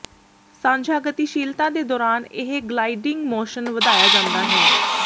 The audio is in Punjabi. ਸਾਂਝਾ ਗਤੀਸ਼ੀਲਤਾ ਦੇ ਦੌਰਾਨ ਇਹ ਗਲਾਈਡਿੰਗ ਮੋਸ਼ਨ ਵਧਾਇਆ ਜਾਂਦਾ ਹੈ